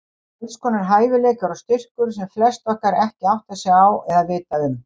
Alls konar hæfileikar og styrkur sem flest okkar ekki átta sig á eða vita um.